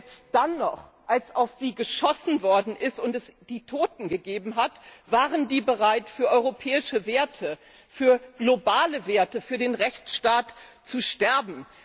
Selbst dann noch, als auf sie geschossen worden ist und es Tote gab, waren sie bereit, für europäische Werte, für globale Werte, für den Rechtsstaat zu sterben.